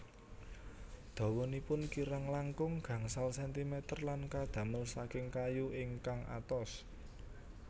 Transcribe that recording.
Dawanipun kirang langkung gangsal sentimeter lan kadamel saking kayu ingkang atos